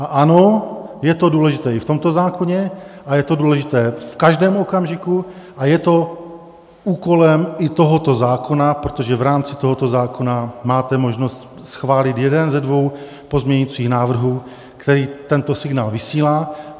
A ano, je to důležité i v tomto zákoně a je to důležité v každém okamžiku a je to úkolem i tohoto zákona, protože v rámci tohoto zákona máte možnost schválit jeden ze dvou pozměňovacích návrhů, který tento signál vysílá.